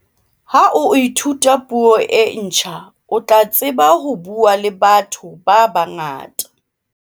ha o ithuta puo e ntjha o tla tseba ho buaa le batho ba bangata